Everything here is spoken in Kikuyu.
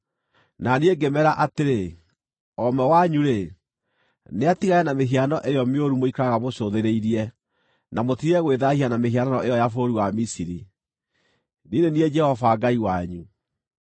Na niĩ ngĩmeera atĩrĩ, “O ũmwe wanyu-rĩ, nĩatigane na mĩhiano ĩyo mĩũru mũikaraga mũcũthĩrĩirie, na mũtige gwĩthaahia na mĩhianano ĩyo ya bũrũri wa Misiri. Niĩ nĩ niĩ Jehova Ngai wanyu.”